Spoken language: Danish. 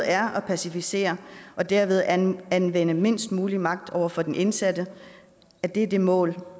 er at passivisere og derved anvende anvende mindst muligt magt over for den indsatte er det er det mål